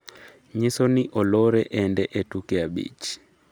nyiso ni olore ende e tuke abich